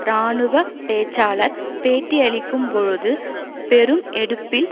இராணுவ பேச்சாளர் பேட்டியளிக்கும்போது பெரும் எடுப்பில்